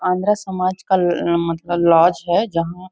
आंध्रा समाज का मतलब लोज हैं जहाँ --